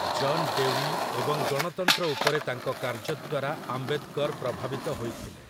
ଜନ୍ Dewey ଏବଂ ଗଣତନ୍ତ୍ର ଉପରେ ତାଙ୍କ କାର୍ଯ୍ୟ ଦ୍ୱାରା ଆମ୍ବେଦ୍‌କର୍ ପ୍ରଭାବିତ ହୋଇଥିଲେ ।